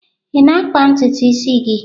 Ị na-akpa ntutu isi gị?